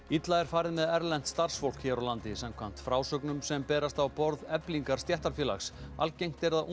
illa er farið með erlent starfsfólk hér á landi samkvæmt frásögnum sem berast á borð Eflingar stéttarfélags algengt er að